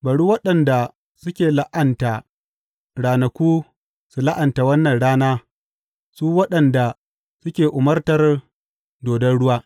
Bari waɗanda suke la’anta ranaku su la’anta wannan rana su waɗanda suke umartar dodon ruwa.